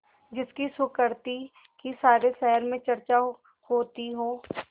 जिसकी सुकृति की सारे शहर में चर्चा होती हो